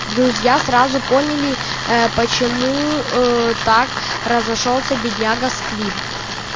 друзья сразу поняли ээ почему ээ так разошёлся бедняга сквиб